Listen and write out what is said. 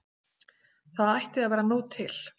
Það ætti að vera nóg til.